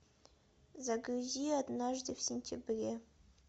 загрузи однажды в сентябре